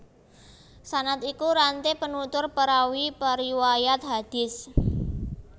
Sanad iku ranté penutur perawi periwayat hadis